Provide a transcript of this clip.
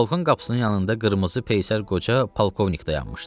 balkon qapısının yanında qırmızı peysər qoca polkovnik dayanmışdı.